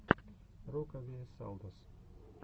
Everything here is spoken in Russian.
рокавиэсалдос